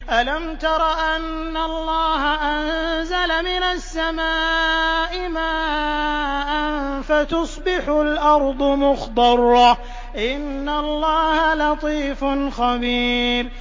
أَلَمْ تَرَ أَنَّ اللَّهَ أَنزَلَ مِنَ السَّمَاءِ مَاءً فَتُصْبِحُ الْأَرْضُ مُخْضَرَّةً ۗ إِنَّ اللَّهَ لَطِيفٌ خَبِيرٌ